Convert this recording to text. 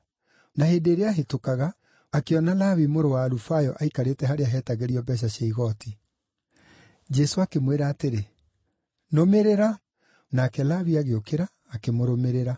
Na hĩndĩ ĩrĩa aahĩtũkaga, akĩona Lawi mũrũ wa Alufayo aikarĩte harĩa heetagĩrio mbeeca cia igooti. Jesũ akĩmwĩra atĩrĩ, “Nũmĩrĩra,” nake Lawi agĩũkĩra akĩmũrũmĩrĩra.